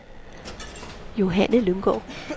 Johanne Lynggaard